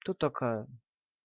кто такая